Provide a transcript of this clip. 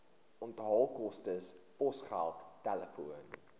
onthaalkoste posgeld telefoon